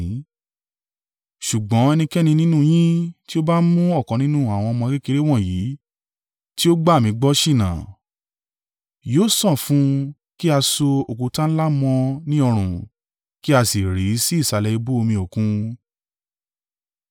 “Ṣùgbọ́n ẹnikẹ́ni nínú yín tí ó bá mú ọ̀kan nínú àwọn ọmọ kékeré wọ̀nyí tí ó gbà mí gbọ́ ṣìnà, yóò sàn fún un kí a so òkúta ńlá mọ́ ọn ní ọrùn, kí a sì rì í sí ìsàlẹ̀ ibú omi Òkun.